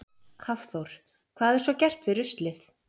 Hafþór: Hvað er svo gert við ruslið?